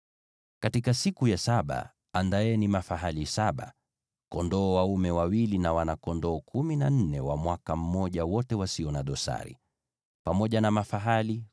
“ ‘Katika siku ya saba andaeni mafahali wachanga kumi na wawili, kondoo dume wawili, na wana-kondoo kumi na wanne wa mwaka mmoja, wote wasio na dosari.